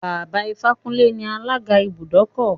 Baba Ifákúnlé ni alága ibùdókọ̀.